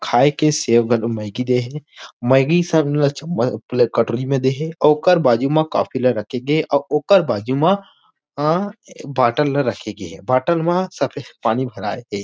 खाय के सेब अऊ मैगी दे हे मैगी सब ला चमच-चमच कटोरी ला दे हे अउ ओकर बाजू मा कॉफी ला रख के गे हे अउ ओकर बाजू मा बॉटल रख के गए हे बॉटल म सफेद पानी रखे हे।